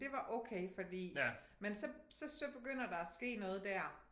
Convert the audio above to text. Det var okay fordi men så så så begynder der at ske noget der